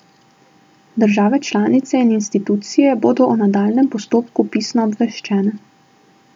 Države članice in institucije bodo o nadaljnjem postopku pisno obveščene.